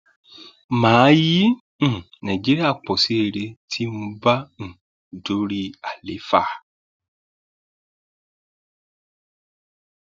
mà á yí um nàìjíríà pọ sí rere tí mo bá um dorí àlééfà